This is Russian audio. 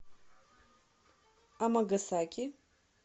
амагасаки